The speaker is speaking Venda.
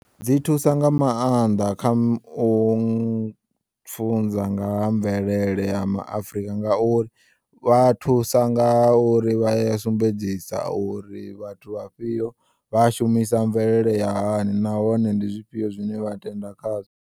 Dzi thusa nga maanḓa kha u pfunza nga ha mvelele ya ma Afrika ngauri vha thusa ngauri vha ya sumbedzisa uri vhathu vha fhiyo vha shumisa mvelele ya hani nahone ndi zwifhiyo zwine vha tenda khazwo.